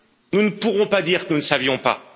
Nous ne pourrons pas dire que nous ne savions pas.